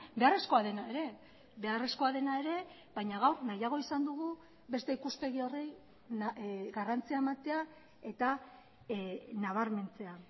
beharrezkoa dena ere beharrezkoa dena ere baina gaur nahiago izan dugu beste ikuspegi horri garrantzia ematea eta nabarmentzea